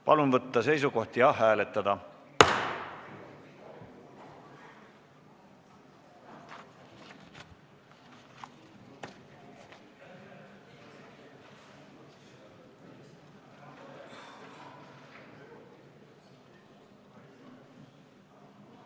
Palun võtta seisukoht ja hääletada!